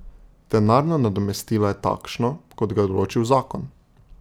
Denarno nadomestilo je takšno, kot ga je določil zakon.